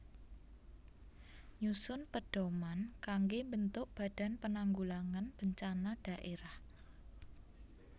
Nyusun pedhoman kanggé mbentuk Badan Penanggulangan Bencana Dhaérah